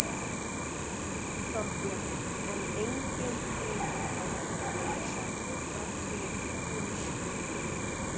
Þorbjörn: En engin breyting á verkefninu sjálfu þrátt fyrir úrskurðinn?